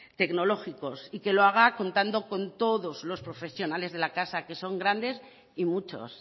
tecnológicos y que lo haga contando con todos los profesionales de la casa que son grandes y muchos